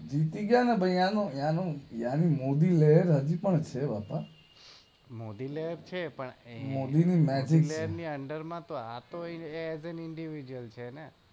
જીતી ગયા ને ભાઈ એનું એનું મોદીલહેર હાજી પણ છે બકા મોદીલહેર છે પણ મોદી ની મેજીક લહેર ની આનાંદર આતો ઇંડીવિડ્યૂઅલ છે ને?